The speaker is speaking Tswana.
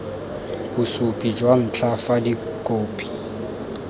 bosupi jwa ntlha fa dikhopi